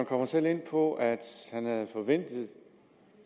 kommer selv ind på at han havde forventet